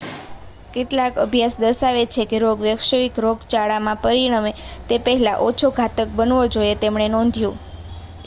કેટલાક અભ્યાસ દર્શાવે છે કે રોગ વૈશ્વિક રોગચાળામાં પરિણમે તે પહેલાં ઓછો ઘાતક બનવો જોઈએ તેમણે નોંધ્યું